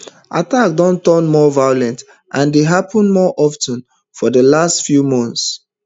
attacks don turn more violent and dey happun more of ten for di past few months